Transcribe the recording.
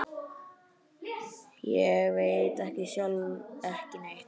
Ég veit sjálf ekki neitt.